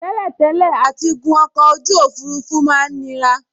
Tẹ́lẹ̀tẹ́lẹ̀ àtigun ọkọ̀ ojú òfurufú máa n nira